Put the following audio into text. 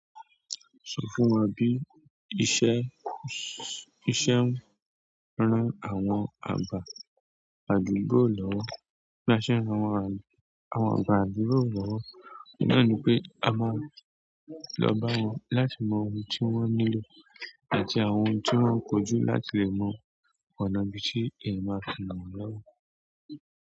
Sọ fún wa bí iṣẹ́, iṣẹ́ rán àwọn àgbà àdúgbò lọ́wọ́, bí a ṣe ń ran àwọn àwọn àgbà àdúgbò lọ́wọ́, oun nani pe a máa lọ bá wọn láti mọ ohun tí wọ́n nílò àti àwọn ohun tí wọ́n kojú láti lè mọ ọ̀nà bí ti èeyan máa fi mọ̀ lọ́wọ́.